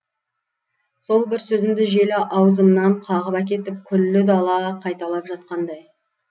сол бір сөзімді жел аузымнан қағып әкетіп күллі дала қайталап жатқандай